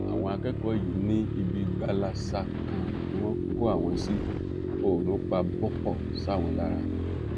àwọn akẹkọọ yìí ní ibi gbalasa kan ni wọn kó àwọn sí oòrùn pa bọpọ sáwọn lára